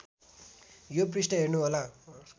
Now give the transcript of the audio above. यो पृष्ठ हेर्नुहोला